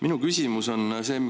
Minu küsimus on see.